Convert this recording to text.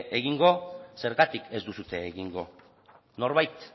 egingo zergatik ez duzue egingo norbait